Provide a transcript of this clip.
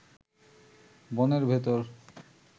বনের ভেতর